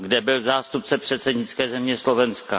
Kde byl zástupce předsednické země Slovenska?